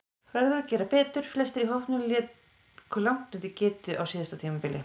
Verður að gera betur: Flestir í hópnum léku langt undir getu á síðasta tímabili.